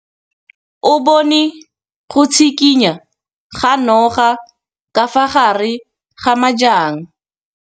O bone go tshikinya ga noga ka fa gare ga majang.